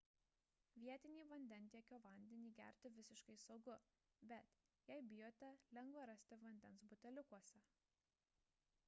vietinį vandentiekio vandenį gerti visiškai saugu bet jei bijote lengva rasti vandens buteliukuose